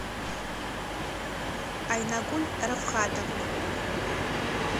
айнагуль рафхатовна